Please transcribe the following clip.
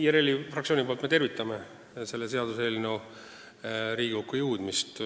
IRL-i fraktsiooni nimel tervitan selle seaduseelnõu Riigikokku jõudmist.